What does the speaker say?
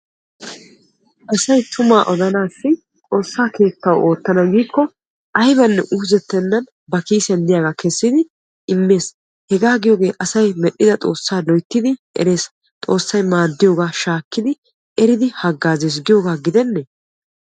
Asayi tuma odanaassi xoossa keettawu oottana giikko ayibanne uuzettennan bakiisiyan diyaaga kessidi immes hegaa giyooge asayi medhida xoossa loyittidi eres xoossayi maadiyooga shaakkidi eridi haggaazes giyoogaa gidenne.